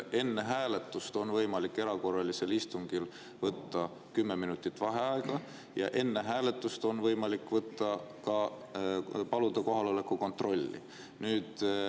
Enne hääletust on võimalik erakorralisel istungil võtta kümme minutit vaheaega ja enne hääletust on võimalik paluda kohaloleku kontrolli.